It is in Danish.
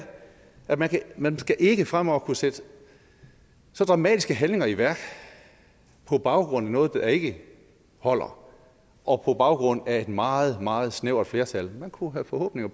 at man man ikke fremover skal kunne sætte så dramatiske handlinger i værk på baggrund af noget der ikke holder og på baggrund af et meget meget snævert flertal man kunne have forhåbninger